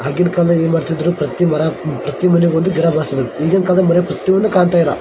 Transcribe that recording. ಆಗಿನ ಕಾಲ ಏನ್ ಮಾಡ್ತಿದ್ರು ಪ್ರತಿಯೊಂದು ಮರ ಪ್ರತಿ ಮನೆಗೊಂದು ಗಿಡ ಬೆಳೆಸ್ತಿದ್ರು ಈಗಿನ ಕಾಲದಲ್ಲಿ ಬರೇ ಪ್ರತಿಯೊಂದು ಕಾಣ್ತಾ ಇಲ್ಲ .